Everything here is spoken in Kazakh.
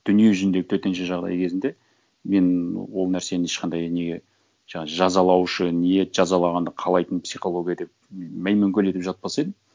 дүниежүзінде төтенше жағдай кезінде мен ол нәрсені ешқандай неге жаңа жазалаушы ниет жазалағанды қалайтын психология деп маймөңкелетіп жатпас едім